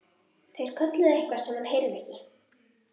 Þeir kölluðu eitthvað sem hann heyrði ekki.